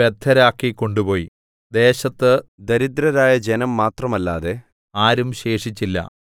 ബദ്ധരാക്കി കൊണ്ടുപോയി ദേശത്ത് ദരിദ്രരായ ജനം മാത്രമല്ലാതെ ആരും ശേഷിച്ചില്ല